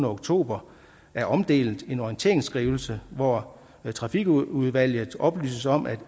oktober er omdelt en orienteringsskrivelse hvor trafikudvalget oplyses om at